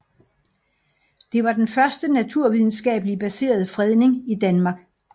Det var den første naturvidenskabeligt baserede fredning i Danmark